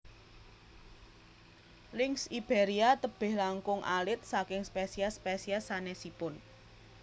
Lynx Iberia tebih langkung alit saking spesies spesies sanesipun